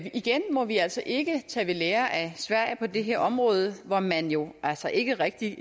igen må vi altså ikke tage ved lære af sverige på det her område hvor man jo altså ikke rigtig